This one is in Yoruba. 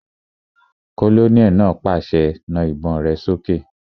Kólóníẹ̀ náà pàṣẹ, "Na àwọn ìbọn rẹ sókè!"